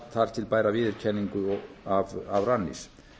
þar til bæra viðurkenningu af rannís